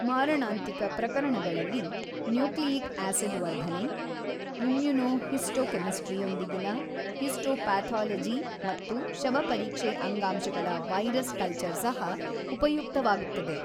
ಮಾರಣಾಂತಿಕ ಪ್ರಕರಣಗಳಲ್ಲಿ, nucleic acid ವರ್ಧನೆ, ಇಮ್ಯುನೊಹಿಸ್ಟೊಕೆಮಿಸ್ಟ್ರಿಯೊಂದಿಗಿನ ಹಿಸ್ಟೋಪಾಥಾಲಜಿ ಮತ್ತು ಶವಪರೀಕ್ಷೆ ಅಂಗಾಂಶಗಳ ವೈರಸ್ ಕಲ್ಚರ್ ಸಹ ಉಪಯುಕ್ತವಾಗುತ್ತದೆ.